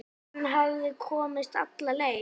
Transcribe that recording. Hann hafði komist alla leið!